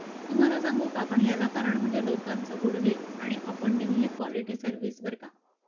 तुम्हाला सांगू का आपण याला कारण म्हणजे लोकाचे गुडविल आणि आपण दिल्लेली क्वालिटी सर्व्हिस बर का.